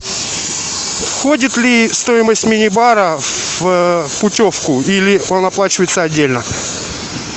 входит ли стоимость мини бара в путевку или он оплачивается отдельно